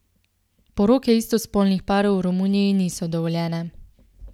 Poroke istospolnih parov v Romuniji niso dovoljene.